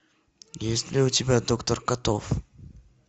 есть ли у тебя доктор котов